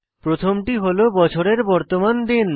প্রথমটি হল বছরের বর্তমান দিন